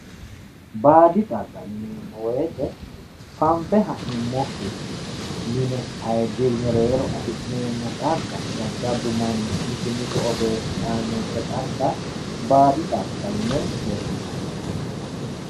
Baadi xagga yineemmo woyte fanfe ha'nuummokkinni qaetenni affi'neemmo xagga jajjabbu manni qixxeesse aanno xagga baadi xaggati yineemmo.